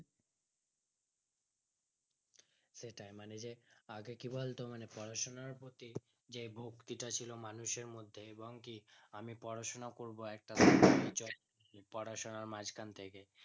সেটাই মানে যে আগে কি বলতো মানে পড়াশোনার প্রতি যে ভক্তিটা ছিল মানুষের মধ্যে এবং কি আমি পড়াশোনা করবো একটা চাই পড়াশোনার মাঝখান থেকে